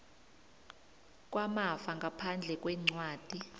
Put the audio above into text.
kwamafa ngaphandle kwencwadi